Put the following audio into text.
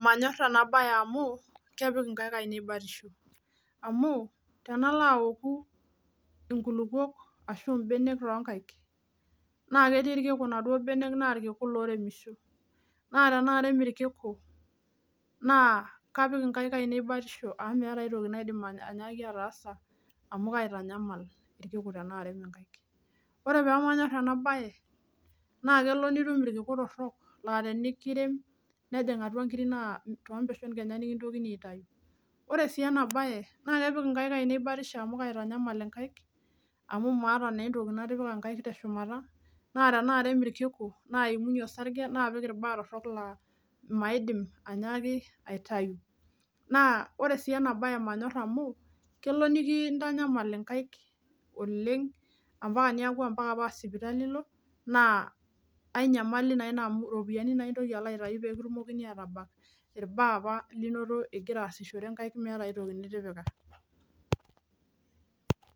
Manyorr ena baye amu kepik inkaik ainei batisho amu tenalo aoku inkulupuok ashu imbenek tonkaik naa ketii irkiku inaduo benek naa irkiku loremisho naa tenaarem irkiku naa kapik inkaik ainei batisho amu meeta aitoki naidim anya anyaaki ataasa amu kaitanyamal irkiku tenaarem inkaik ore pemanyorr ena baye naa kelo nitum irkiku torrok laa tenikirem nejing atua inkiri naa tompeshon kenya nikintokini aitayu ore sii ena baye naa kepik inkaik ainei batisho amu kaitanyamal inkaik amu maata nentoki natipika inkaik teshumata naa tenaarem irkiku naimunyie osarge naapik irbaa torrok laa maidim anyaaki aitayu naa ore sii ena baye manyorr kelo niki nikintanyamal inkaik oleng ampaka niaku ampaka naa sipitali ilo naa ae nyamali naa ina amu iropiyiani naa intoki alo aitai pee kitumokini atabak irbaa apa linoto igira aasishore inkaik meeta aetoki nitipika.